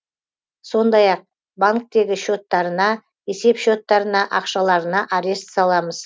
сондай ақ банктегі счеттарына есеп счеттарына ақшаларына арест саламыз